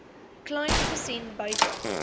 kleyn gesien buite